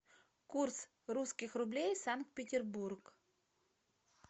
курс русских рублей санкт петербург